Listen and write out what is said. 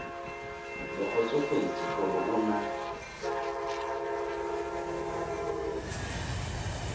le kgotsofetse gore o na